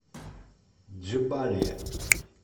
джебалия